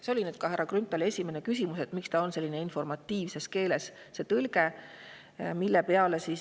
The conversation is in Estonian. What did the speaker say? See oli ka härra Grünthali esimene küsimus, et miks on see tõlge vaid informatiivne.